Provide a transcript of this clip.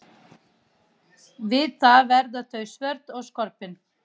Við það verða þau svört og skorpin.